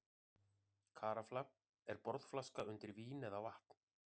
Karafla er borðflaska undir vín eða vatn.